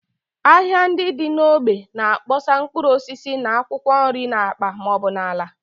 Ahịa ndị dị n’ógbè na-akpọsa mkpụrụ osisi na akwụkwọ nri n’akpa ma ọ bụ n’ala